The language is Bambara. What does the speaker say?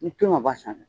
Ni tin ka b'a san